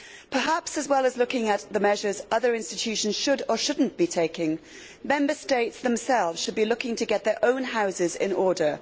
Perhaps, as well as looking at the measures other institutions should or should not be taking, Member States themselves should be looking to get their own houses in order.